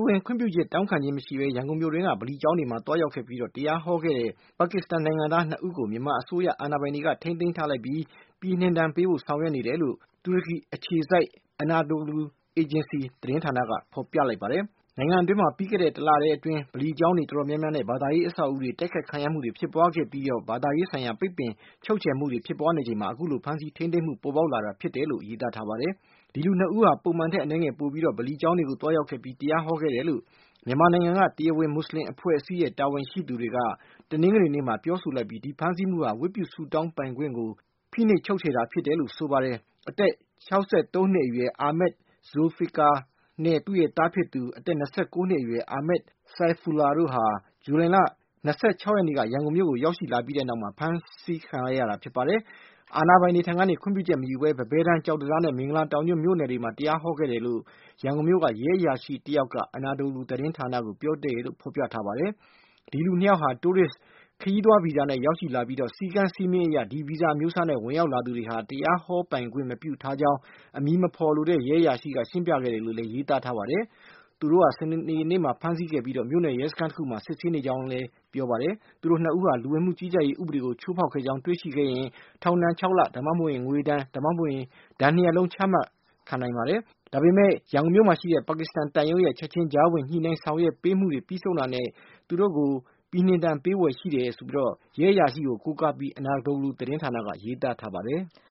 ဝင် ခွင့်ပြုချက် တောင်းခံခြင်းမရှိပဲ ရန်ကုန်မြို့တွင်းက ဗလီကျောင်းတွေကို သွားရောက်ခဲ့ပြီး တရားဟောခဲ့တဲ့ ပါကစ္စတန်နိုင်ငံသား ၂ ဦးကို မြန်မာအစိုးရ အာဏာပိုင်တွေက ထိန်းသိမ်းထားပြီး ပြည်နှင်ဒဏ်ပေးဖို့ဆောင်ရွက်နေတယ်လို့ တူရကီနိုင်ငံအခြေစိုက် Anadolu Agency သတင်းဌာနက ဖေါ်ပြထားပါတယ်။ နိုင်ငံအတွင်းမှာ ပြီးခဲ့တဲ့လ တလထဲအတွင်း ဗလီကျောင်းတွေ တော်တော်များများနဲ့ ဘာသာရေး အဆောက်ဦးတွေ တိုက်ခိုက်ခံရမှုတွေဖြစ်ပွားခဲ့ပြီး ဘာသာရေးဆိုင်ရာ ပိတ်ပင် ချုပ်ချယ်မှုတွေ ဖြစ်ပွားနေချိန်မှာ အခုလို ဖမ်းဆီးထိန်းသိမ်းမှု ပေါ်ပေါက်လာတာဖြစ်တယ်လို့ ရေးသားထားပါတယ်။ ဒီလူ ၂ ဦးဟာ ပုံမှန်ထက် အနည်းငယ်ပိုပြီးတော့ ဗလီကျောင်းတွေကို သွားရောက်ခဲ့ပြီး တရားဟောခဲ့တယ်လို့ မြန်မာနိုင်ငံက တရားဝင် မွတ်ဆလင်အဖွဲ့အစည်းရဲ့ တာဝန်ရှိသူတွေက တနင်္ဂနွေနေ့မှာ ပြောဆိုလိုက်ပြီး၊ ဒီဖမ်းဆီးမှုဟာ ဝတ်ပြုဆုတောင်း ပိုင်ခွင့်ကို ဖိနှိပ်ချုပ်ချယ်တာ ဖြစ်တယ်လို့ ဆိုပါတယ်။ အသက် ၆၃ နှစ်အရွယ် Amed Zulficar နဲ့ သူ့ရဲ့သားဖြစ်သူ အသက် ၂၉ နှစ်အရွယ် Amed Saifullah တို့ဟာ ဇူလိုင်လ ၂၆ ရက်နေ့ ရန်ကုန်မြို့ကို ရောက်ရှိလာခဲ့ပြီးနောက်မှာ ဖမ်းဆီးလိုက်တာဖြစ်ပြီး၊ အာဏာပိုင်တွေထံကနေ ခွင့်ပြုချက် မရယူပဲ ပန်းဘဲတန်း၊ ကျောက်တံတားနဲ့ မင်္ဂလာတောင်ညွန့် မြို့နယ်တွေမှာ တရားဟောခဲ့တယ်လို့ ရန်ကုန်မြို့က ရဲအရာရှိတယောက်က Anadolu သတင်းဌာနကို ပြောပြတယ်လို့ ဖေါ်ပြထားပါတယ်။ ဒီလူ ၂ ယောက်ဟာ Tourist ခရီးသွားဗီဇာနဲ့ ရောက်ရှိလာတာ ဖြစ်ပြီး၊ စည်းကမ်း စည်းမျဉ်းအရ ဒီဗီဇာအမျိုးအစားနဲ့ ဝင်ရောက်လာသူ တွေဟာ တရားဟောပိုင်ခွင့် မပြုထားကြောင်း အမည်မဖေါ်လိုတဲ့ ရဲအရာရှိက ရှင်းပြခဲ့တယ်လို့ ရေးသားထားပါတယ်။ သူတို့ကို စနေနေ့က ဖမ်းဆီးခဲ့ပြီး မြို့နယ်ရဲစခန်းတခုမှာ စစ်ဆေးခဲ့ကြောင်း ပြောတယ်လို့ ဆိုပါတယ်။ သူတို့ ၂ ဦးဟာ လူဝင်မှု ကြီးကြပ်ရေး ဥပဒေကို ချိုးဖောက်ခဲ့ကြောင်းတွေ့ရှိခဲ့ရင် ထောင်ဒဏ် (၆)လ ဒါမှမဟုတ် ဒဏ်ငွေ ဒါမှမဟုတ် ပြစ်ဒဏ် (၂)ရပ်လုံး ချမှတ်ခံရနိုင်ပါတယ်။ ဒါပေမဲ့ ရန်ကုန်မြို့မှာရှိတဲ့ ပါကစ္စတန် သံရုံးရဲ့ ချက်ခြင်း ကြားဝင်ညှိနှိုင်းဆောင်ရွက်ပေးနေမှု ပြီးဆုံးတာနဲ့ ချက်ချင်း ပြည်နှင်ဒဏ်ပေးဖွယ် ရှိကြောင်း ရဲအရာရှိကို ကိုးကားပြီး Anadolu သတင်းဌာနက ရေးသားထားပါတယ်။